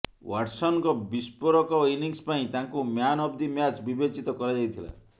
ୱାଟ୍ସନଙ୍କ ବିସ୍ଫୋରକ ଇଂନିସ ପାଇଁ ତାଙ୍କୁ ମ୍ୟାନ୍ ଅଫ୍ ଦି ମ୍ୟାଚ୍ ବିବେଚିତ କରାଯାଇଥିଲା